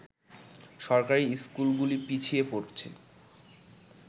সরকারি স্কুলগুলি পিছিয়ে পড়ছে